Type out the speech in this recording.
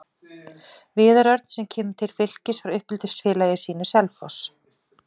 Viðar Örn sem kemur til Fylkis frá uppeldisfélagi sínu, Selfoss.